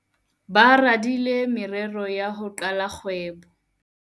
ba radile morero wa ho qala kgwebo